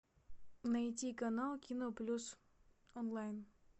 найти канал кино плюс онлайн